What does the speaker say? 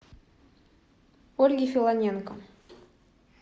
ольги филоненко